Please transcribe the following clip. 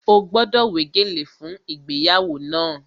Ó gbọ́dọ̀ wé gèlè fún ìgbéyàwó náà!